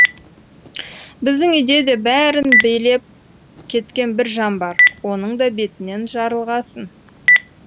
біздің үйде де бәрін билеп кеткен бір жан бар оның да бетінен жарылғасын